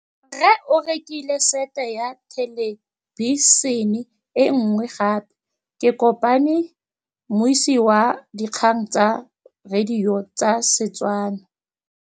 Rre o rekile sete ya thêlêbišênê e nngwe gape. Ke kopane mmuisi w dikgang tsa radio tsa Setswana.